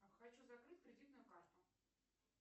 хочу закрыть кредитную карту